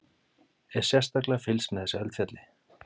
Er sérstaklega fylgst með þessu eldfjalli?